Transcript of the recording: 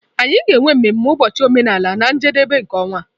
Anyị ga-enwe mmemme ụbọchị omenala na njedebe nke ọnwa a.